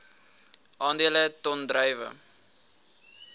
aandele ton druiwe